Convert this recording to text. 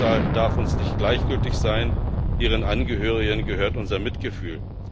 Ihr Schicksal darf uns nicht gleichgültig sein, ihren Angehörigen gehört unser Mitgefühl.